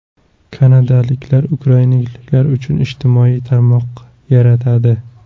Kanadaliklar ukrainaliklar uchun ijtimoiy tarmoq yaratadi.